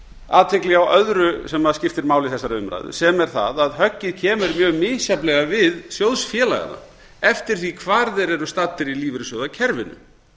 athygli á öðru sem skiptir máli í þessari umræðu sem er það að höggið kemur mjög misjafnlega við sjóðfélaganna eftir því hvar þeir eru staddir í lífeyrissjóðakerfinu